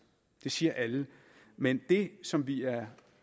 det siger alle men det som vi er